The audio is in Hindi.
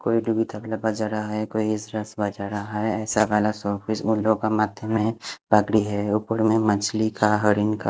कोई बजा रहा है कोई बजा रहा है ऐसा मे उन लोगों के माथे में पगड़ी है ऊपर में मछली का हरिन का--